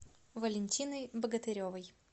валентиной богатыревой